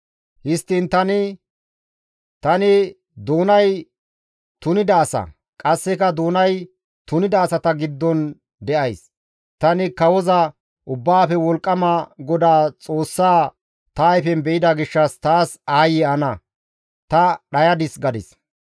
Histtiin tani, «Tani doonay tunida asa; qasse doonay tunida asata giddon de7ays; tani Kawoza, Ubbaafe Wolqqama GODAA Xoossa ta ayfen be7ida gishshas taas aayye ana! Ta dhayadis» gadis.